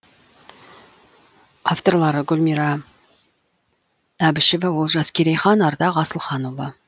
авторлары гүлмира әбішева олжас керейхан ардақ асылханұлы